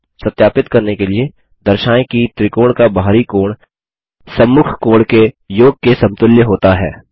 सत्यापित करने के लिए दर्शाएँ कि त्रिकोण का बाहरी कोण सम्मुख आंतरिक कोण के योग के समतुल्य होता है